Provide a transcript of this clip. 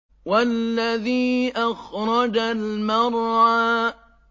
وَالَّذِي أَخْرَجَ الْمَرْعَىٰ